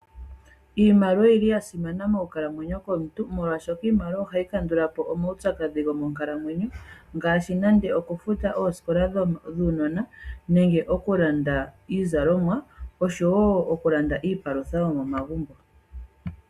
Iimaliwa oyili ya simana moonkalamweyo komuntu molwashoka iimaliwa ohayi kandula po omaupyakadhi goonkalamweyo, ngaashi nande okufuta oosikola dhuunona nenge okulanda iizalomwa, oshowo okulanda iipalutha yomomagumbo.